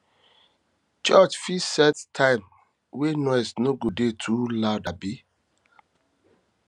church fit set time wey noise no go dey too loud abi